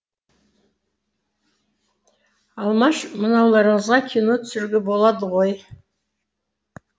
алмаш мынауларыңызға кино түсіруге болады ғой